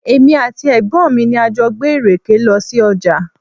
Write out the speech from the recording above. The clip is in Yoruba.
Èmi àti ẹ̀gbọ́n mi ni a jọ gbé ìrèké lọ sí ọjà.